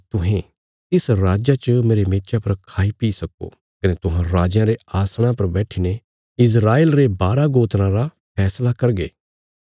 तुहें तिस राज्जा च मेरे मेचा पर खाई पी सक्को कने तुहां राजयां रे आसणा पर बैट्ठीने इस्राएल रे बारा गोत्राँ रा फैसला करगे